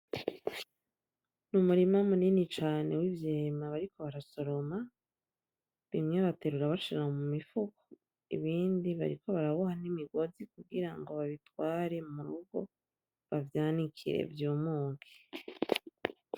Umurima munini cane w'ivyema bariko barasoroma, bimwe baterura bashira mumifuko, ibindi bariko baraboha n'imigozi kugira ngo babitware mu rugo bavyanikire vyumuke .